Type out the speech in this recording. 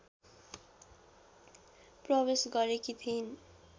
प्रवेश गरेकी थिइन्